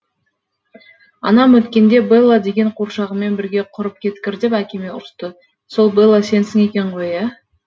анам өткенде белла деген қуыршағыңмен бірге құрып кеткір деп әкеме ұрысты сол белла сенсің екен ғой ә